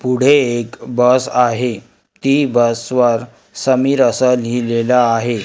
पुढे एक बस आहे ती बस वर समीर असं लिहिलेलं आहे.